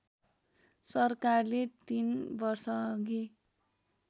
सरकारले तीन वर्षअघि